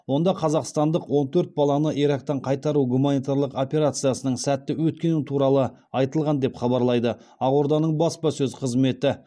онда қазақстандық он төрт баланы ирактан қайтару гуманитарлық операциясының сәтті өткені туралы айтылған деп хабарлайды ақорданың баспасөз қызметі